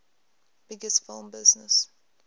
biggest film business